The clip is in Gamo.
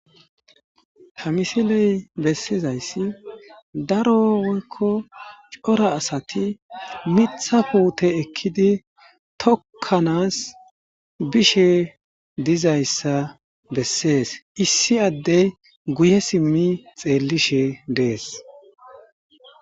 ha misiley bessizayssi darowoykko cora asati mitha puute ekkidi tokkanas bishe dizayssa bessees issi addey guye simmi xeellishe dees